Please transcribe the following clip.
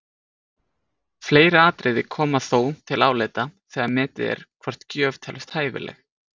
Fleiri atriði koma þó til álita þegar metið er hvort gjöf telst hæfileg.